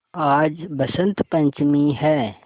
आज बसंत पंचमी हैं